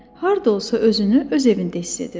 Harda olsa özünü öz evində hiss edirdi.